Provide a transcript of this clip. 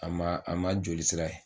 A ma a ma jolisira ye